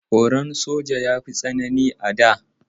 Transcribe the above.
Horon aikin soja ya fi tsanani a da.